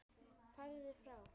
Farðu frá!